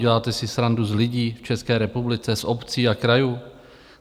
Děláte si srandu z lidí v České republice, z obcí a krajů?